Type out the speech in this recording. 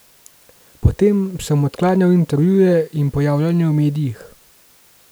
Potem sem odklanjal intervjuje in pojavljanje v medijih.